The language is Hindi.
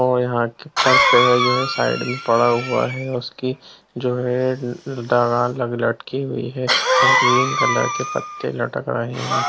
और यहां की पर पेड़ जो है साइड में पड़ा हुआ है उसकी जो है डगाल लग लटकी हुई है और ग्रीन कलर के पत्ते लटक रहे है।